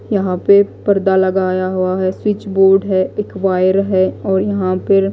यहां पे परदा लगाया हुआ है। स्विच बोर्ड है एक वायर है और यहां पर--